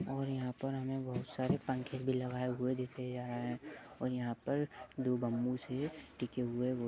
और यहां पर हमें बहुत सारे पंखे भी लगाये हुए दिखे जा रहे हैं और यहां पर दो बंबू से टिके हुए बहुत --